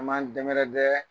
An b'an dɛmɛrɛdɛ.